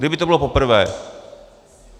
Kdyby to bylo poprvé.